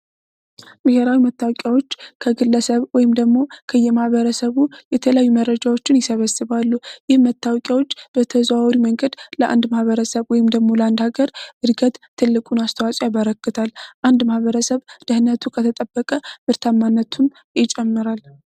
ብሄራዊ መታወቂያዎች ከግለሰብ ወይም ደግሞ ከየማበረሰቡ የተለያዩ መረጃዎችን ይሰበስባሉ ይህ መታወቂያዎች በተዘዋወር መንገድ ለአንድ ማህበረሰብ ወይም ደሞ ለአንድ ሀገር እድገት ትልቁን አስተዋጽኦ ያበረከታል አንድ ማህበረሰብ ደህንነቱ ከተጠበቀ ምርታማነቱን የጨመራለሁ